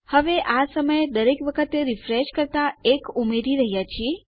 હવે આ સમયે દરેક વખત રીફ્રેશ કરતા આપણે 1 ઉમેરી રહ્યા છીએ